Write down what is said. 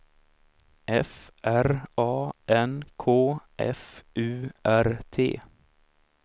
F R A N K F U R T